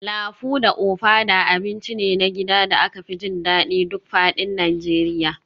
Lafu da ofada abinci ne na gida da aka fi jin daɗin duk faɗin Najeriya